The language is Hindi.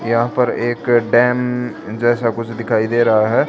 यहां पर एक डैम जैसा कुछ दिखाई दे रहा है।